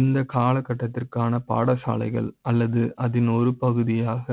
இந்த காலகட்ட த்திற்கான பாடசாலைகள் அல்லது அதன் ஒரு பகுதியாக